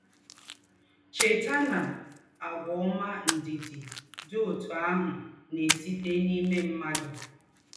Chètà na, àgwà ọ́mà ndị̀ dị̀ dị̀ òtù àhụ̀ na-èsítè n’ímè mmádụ̀